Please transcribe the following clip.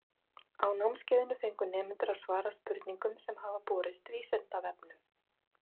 Á námskeiðinu fengu nemendur að svara spurningum sem hafa borist Vísindavefnum.